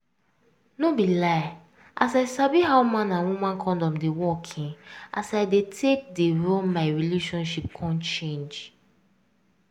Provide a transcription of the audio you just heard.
no be lie as i sabi how man and woman condom dey work[um]as i dey take dey run my relationship come change